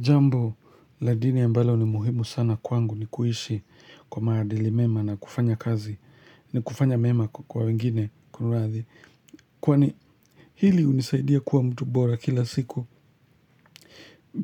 Jambo, ladini ambalo ni muhimu sana kwangu ni kuishi kwa maadili mema na kufanya kazi ni kufanya mema kwa wengine, kuradhi Kwani hili unisaidia kwa mtu bora kila siku